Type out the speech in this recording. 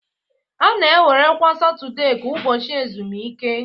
A na-ewerekarị Satọde ka ụbọchị ezumike.